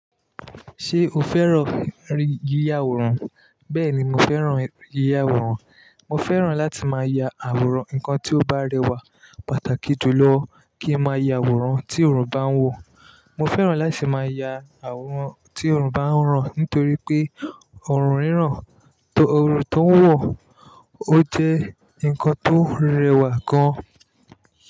Ṣé o fẹ́ràn rí yíya àwòrán? Bẹ́ẹ̀ni, mo fẹ́ràn yíya àwòrán. Mo fẹ́ràn láti máa ya àwòrán nǹkan tí ó bá rẹwà pàtàkì jùlọ kí n máa ya àwòrán tí òrùn bá ń wò. Mo fẹ́ràn láti máa ya àwòrán tí òrùn bá ń ràn nítorí pé òrùn ríràn, òrùn tó ń wọ o ó jẹ́ ǹkan tó rẹwà gan.